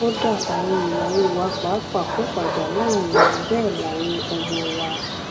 kódà àwọn ìyàwó wa pàápàá kò fàjà láàrin wa bẹẹ náà làwọn ọmọ wa